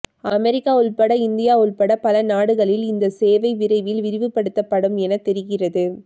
America உள்பட India உள்பட பல நாடுகளில் இந்த சேவை விரைவில் விரிவுபடுத்தப்படும் என தெரிகிறது